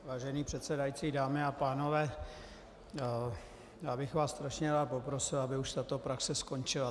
Vážený předsedající, dámy a pánové, já bych vás strašně rád poprosil, aby už tato praxe skončila.